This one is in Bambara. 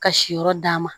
Ka si yɔrɔ d'a ma